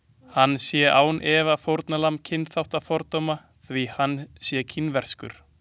Hann sé án efa fórnarlamb kynþáttafordóma því hann sé kínverskur.